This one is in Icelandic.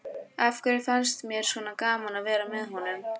Af hverju fannst mér svona gaman að vera með honum?